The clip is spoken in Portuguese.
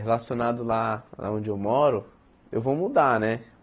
relacionado lá onde eu moro, eu vou mudar, né?